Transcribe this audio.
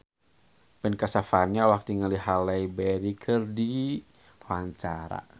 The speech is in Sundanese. Ben Kasyafani olohok ningali Halle Berry keur diwawancara